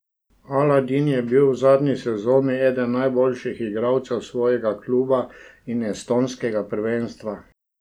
Aladin je bil v zadnji sezoni eden najboljših igralcev svojega kluba in estonskega prvenstva.